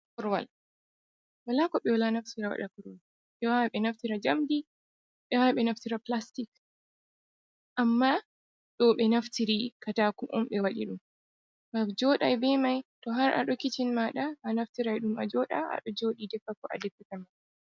Korowal: Wala ko ɓe wala naftira ɓewaɗa korowal. Ɓe wawan ɓe naftira njamdi, ɓe wawan ɓe naftira plastic. Amma ɗo ɓe naftiri katako on ɓe waɗi ɗum ngam joɗai be mai. To har ado kitchen maɗa anaftirai ɗum a joɗa aɗo joɗi defa ko adefata mai.